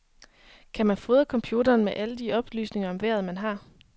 Kan man fodre en computer med alle de oplysninger om vejret, man har?